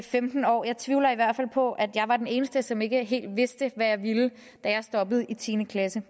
femten år jeg tvivler i hvert fald på at jeg var den eneste som ikke helt vidste hvad jeg ville da jeg stoppede i tiende klasse